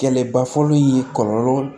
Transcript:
Kɛlɛba fɔlɔ in ye kɔlɔlɔ